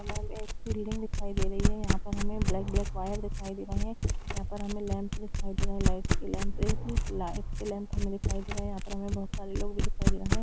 एक बिल्डिंग दिखाई दे रही है यहां पर हमे ब्लैक ब्लैक वायर दिखाई दे रहे है यहां पे हमे लैम्प दिखाई दे रहा है लाइट की लाइट की लैम्प हमे दिखाई दे रहे है यहां पर हमें बहुत सारे लोग भी दिखाई दे रहे है।